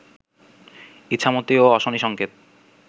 ইছামতী ও অশনি সংকেত